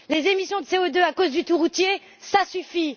Les émissions de CO2 à cause du tout routier, ça suffit!